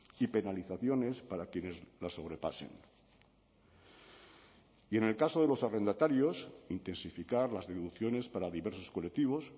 y penalizaciones para quienes la sobrepasen y en el caso de los arrendatarios intensificar las deducciones para diversos colectivos